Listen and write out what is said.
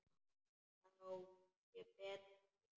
Þá sé betra að gefa.